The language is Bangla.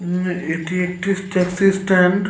আ-- এটি একটি ট্যাক্সি স্ট্যান্ড ।